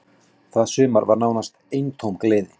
Það sumar var nánast eintóm gleði.